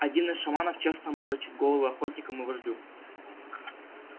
один из шаманов честно морочит головы охотникам и вождю